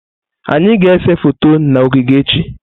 Anyị ga-ese foto na ogige echi.